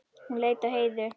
Hún leit á Heiðu.